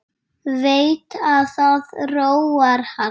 Veit að það róar hann.